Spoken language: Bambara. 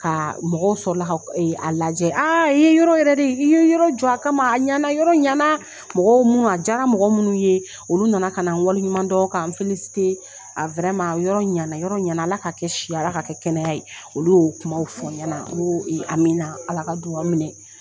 Ka mɔgɔw sɔrɔ ka a lajɛ i ye yɔrɔ yɛrɛ de i ye yɔrɔ jɔ a kama a ɲɛ na yɔrɔ ɲɛ na mɔgɔw minnu a jaara mɔgɔ minnu ye olu na na ka wale ɲuman dɔn ka n yɔrɔ ɲa na yɔrɔ ɲa na Ala ka kɛ si Ala ka kɛ kɛnɛya ye olu y'o kumaw fɔ n ɲa na n ko amina Ala ka dugawu minɛ.